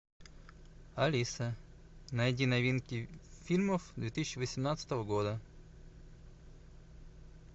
алиса найди новинки фильмов две тысячи восемнадцатого года